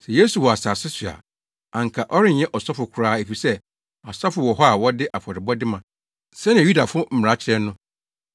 Sɛ Yesu wɔ asase so a, anka ɔrenyɛ ɔsɔfo koraa efisɛ asɔfo wɔ hɔ a wɔde afɔrebɔde ma, sɛnea Yudafo mmara kyerɛ no.